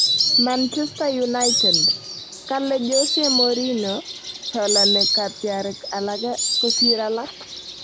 Manchester United: Kale Jose Mourinho chalani katyarik alage kosir alak